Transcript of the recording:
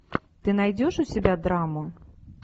ты найдешь у себя драму